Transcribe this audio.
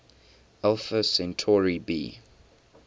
alpha centauri b